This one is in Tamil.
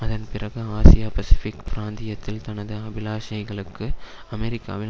அதன் பிறகு ஆசியா பசிபிக் பிராந்தியத்தில் தனது அபிலாஷைகளுக்கு அமெரிக்காவின்